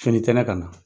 Finitɛ ne ka na